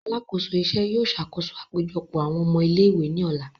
Alakoso iṣẹ yóò ṣakoso apejọpọ awọn ọmọ ile-iwe ni ọla.